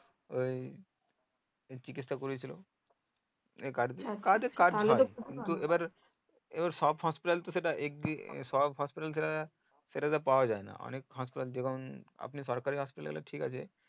ওই চিকিৎসা করিয়ে ছিল সব hospital তো সেটা সব hospital সেটাতে পাওয়া যায়না তিনেক hospital যেমন আমি সরকারি আস্তে হলে ঠিক আছে